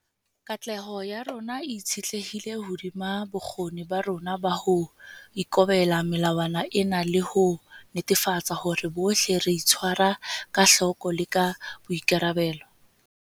Katleho ya rona e itshetlehile hodima bokgoni ba rona ba ho ikobela melawana ena le ho netefatsa hore bohle re itshwara ka hloko le ka boikarabelo.